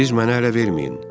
Siz mənə ələ verməyin.